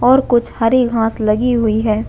और कुछ हरी घास लगी हुयी है।